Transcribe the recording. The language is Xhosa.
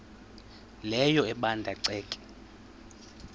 leyo ebanda ceke